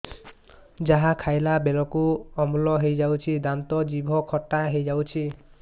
ଯାହା ଖାଇଲା ବେଳକୁ ଅମ୍ଳ ହେଇଯାଉଛି ଦାନ୍ତ ଜିଭ ଖଟା ହେଇଯାଉଛି